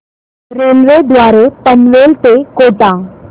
railway द्वारे पनवेल ते कोटा